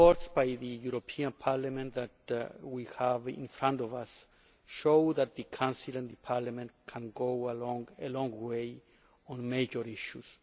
The reports by the European Parliament that we have in front of us show that the Council and Parliament can go a long way together on major issues.